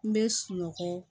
N bɛ sunɔgɔ